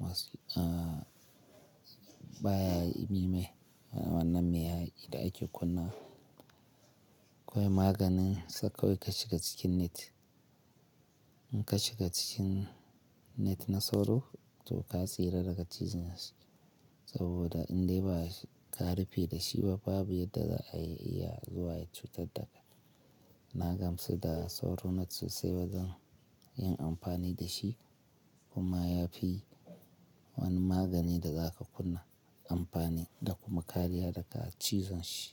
masu eh baya yi me me wanna me ya yi da ake kunna. Ba maganin sa kawai ka shiga cikin net. In ka shiga cikin net na sauro to ka tsira daga cizan shi, saboda in dai ba ka rufe da shi ba babu yadda za ayi ya zuwa ya cutar da kai. Na gamsu da sauro net sosai ba zan yin amfani da shi kuma ya fi wani magani da za ka kunna amfani da kuma kariya daga cizon shi.